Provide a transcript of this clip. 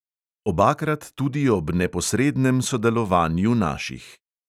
Obakrat tudi ob neposrednem sodelovanju naših.